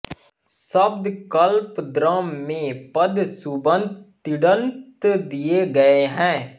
शब्दकल्पद्रम में पद सुबंत तिङत दिए गए हैं